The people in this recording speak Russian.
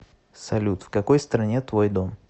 салют в какой стране твой дом